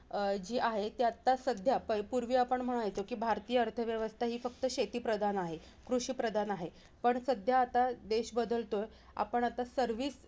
अं जी आहे, ती आत्ता सध्या पै पूर्वी आपण म्हणायचो की भारतीय अर्थव्यवस्था हि फक्त शेतीप्रधान आहे, कृषिप्रधान आहे. पण सध्या आता देश बदलतोय. आपण आत्ता सर्वी